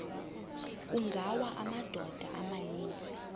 kungawa amadoda amaninzi